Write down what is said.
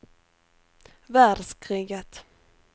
världskriget